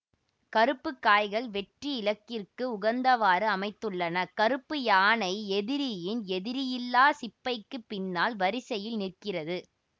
கருப்பு காய்கள் வெற்றி இலக்கிற்கு உகந்தவாறு அமைத்துள்ளன கருப்பு யானை எதிரியின் எதிரியில்லா சிப்பய்க்கு பின்னால் வரிசையில் நிற்கிறது